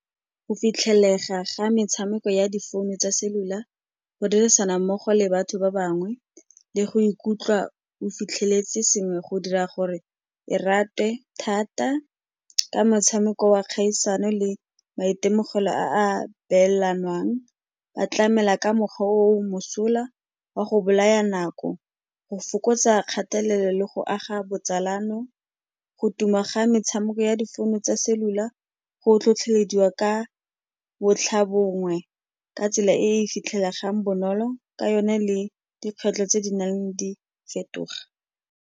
Go fitlhelega ga metshameko ya difounu tsa cellular, go dirisana mmogo le batho ba bangwe le go ikutlwa o fitlheletse sengwe go dira gore e ratwe thata. Ka motshameko wa kgaisano le maitemogelo a a beelanwang, ba tlamela ka mokgwa o mosola wa go bolaya nako, go fokotsa kgatelelo le go aga botsalano. Go tuma ga metshameko ya difounu tsa cellular go tlhotlhelediwa ka bontlhabongwe ka tsela e e fitlhelegang bonolo ka yone le dikgwetlho tse di nnang di fetoga.